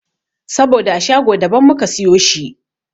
Saboda a shago da ban muka siyo shi.